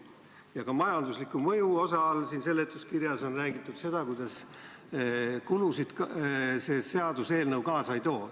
Ka seletuskirjas majandusliku mõju osa all on räägitud, kuidas kulusid see seaduseelnõu kaasa ei too.